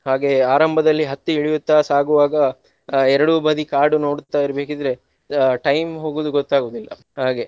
ಹಾಗೆಯೇ ಆರಂಭದಲ್ಲಿ ಹತ್ತಿ ಇಳಿಯುತ್ತಾ ಸಾಗುವಾಗ ಆ ಎರಡೂ ಬದಿ ಕಾಡು ನೋಡುತ್ತಾ ಇರ್ಬೇಕಿದ್ರೆ ಅಹ್ time ಹೋಗುದು ಗೊತ್ತಾಗುವುದಿಲ್ಲ ಹಾಗೆ.